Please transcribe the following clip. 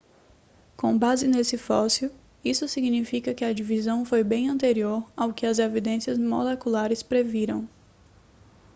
com base neste fóssil isso significa que a divisão foi bem anterior ao que as evidências moleculares previram